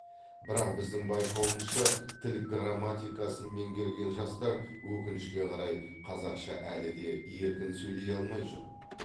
бірақ біздің байқауымызша тіл грамматикасын меңгерген жастар өкінішке қарай қазақша әлі де еркін сөйлей алмай жүр